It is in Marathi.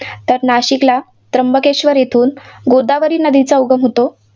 तर नाशिकला त्र्यंबकेश्वर येथून गोदावरी नदीचा उगम होतो.